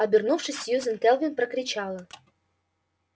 обернувшись сьюзен кэлвин прокричала